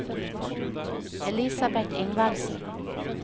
Elisabeth Ingvaldsen